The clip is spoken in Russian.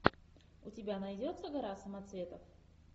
у тебя найдется гора самоцветов